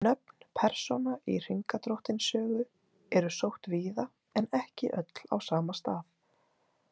Nöfn persóna í Hringadróttinssögu eru sótt víða en ekki öll á sama stað.